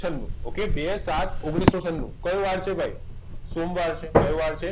છનૂ okay બે સાત ઓગણીસો છનૂ કયો વાર છે ભાઈ સોમવાર છે કયો વાર છે